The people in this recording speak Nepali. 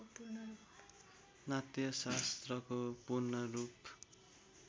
नाट्यशास्त्रको पूर्णरूप